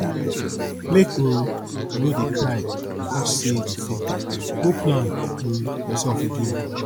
make um you no dey cry because sey you fail go plan um yoursef again